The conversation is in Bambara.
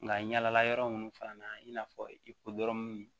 Nka yalala yɔrɔ minnu fana na i n'a fɔ i ko dɔrɔn